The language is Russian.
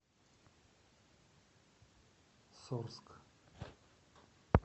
сорск